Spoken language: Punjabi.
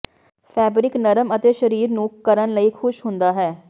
ਫੈਬਰਿਕ ਨਰਮ ਅਤੇ ਸਰੀਰ ਨੂੰ ਕਰਨ ਲਈ ਖੁਸ਼ ਹੁੰਦਾ ਹੈ